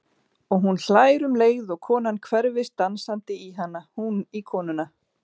Og hún hlær um leið og konan hverfist dansandi í hana, hún í konuna.